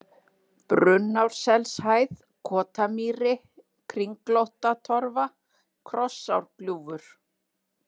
Brunnárselshæð, Kotamýri, Kringlóttatorfa, Krossárgljúfur